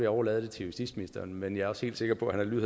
overlade til justitsministeren men jeg er også helt sikker på at han vil